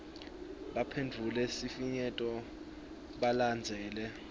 baphendvule sifinyeto balandzele